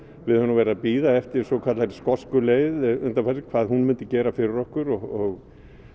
við höfum verið að bíða eftir hinni svokölluðu skosku leið undanfarið hvað hún myndi gera fyrir okkur og